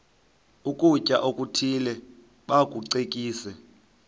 ukutya okuthile bakucekise